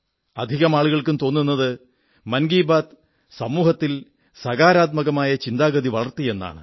അധികം ആളുകൾക്കും തോന്നുന്നത് മൻ കീ ബാത് സമൂഹത്തിൽ സകാരാത്മകമായ ചിന്താഗതി വളർത്തി എന്നാണ്